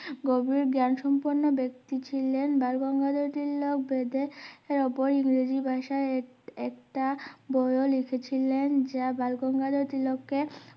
গভীর জ্ঞান সম্পর্ক ব্যাক্তি ছিলেন বালগঙ্গাধর তিলক বেদের ওপর ইংরেজি ভাষায় এক~একটা বইও লিখেছিলেন যা বালগঙ্গাধর তিলককে